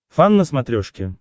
фан на смотрешке